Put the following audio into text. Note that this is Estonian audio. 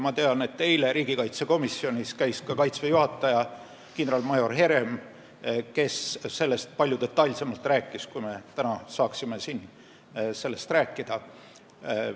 Ma tean, et eile käis riigikaitsekomisjonis ka Kaitseväe juhataja kindralmajor Herem, kes rääkis sellest palju detailsemalt, kui me täna siin sellest rääkida saaksime.